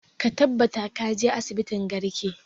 Ka tabbata ka je asibitin garki!